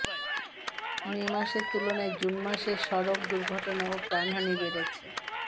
মে মাসের তুলনায় জুন মাসে সড়ক দুর্ঘটনা ও প্রাণহানি বেড়েছে